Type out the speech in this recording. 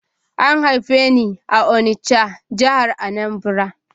An haife ni a Onitsha, jihar Anambra.